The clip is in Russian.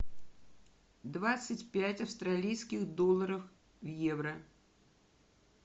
двадцать пять австралийских долларов в евро